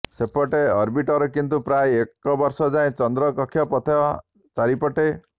ସେପଟେ ଅର୍ବିଟର କିନ୍ତୁ ପ୍ରାୟ ଏକ ବର୍ଷ ଯାଏ ଚନ୍ଦ୍ର କକ୍ଷ ପଥ ଚାରିପଟେ